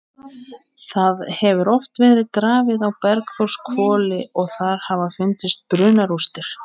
Það hefur oft verið grafið á Bergþórshvoli og þar hafa fundist brunarústir.